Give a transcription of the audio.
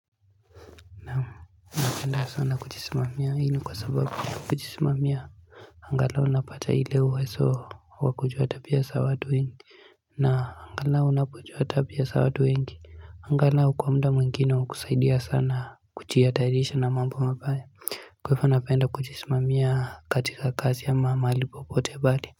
Napenda sana kujisimamia hii ni kwa sababu kujisimamia angalau napata ile uwezo wakuchota pesa watu wengi na angalau ninapo chota pesa watu wengi Angalau kwa muda mwingine wakusaidia sana kujiihatahirisha na mambo mabaya Kwa hivyo napenda kujisimamia katika kazi ama mahali popote pale.